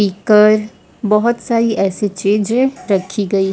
speaker बहुत सारी ऐसी चीजें रखी गई--